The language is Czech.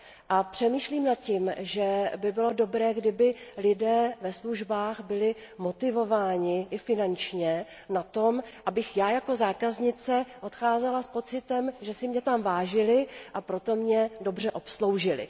A přemýšlím nad tím, že by bylo dobré, kdyby lidé ve službách byli motivováni i finančně k tomu, abych já jako zákaznice odcházela s pocitem, že si mě tam vážili, a proto mě dobře obsloužili.